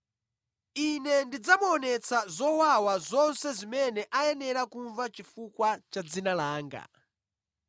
Ine ndidzamuonetsa zowawa zonse zimene ayenera kumva chifukwa cha dzina langa.”